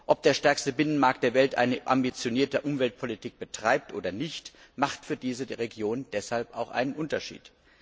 Ob der stärkste Binnenmarkt der Welt eine ambitionierte Umweltpolitik betreibt oder nicht, macht für diese Region deshalb auch einen Unterschied.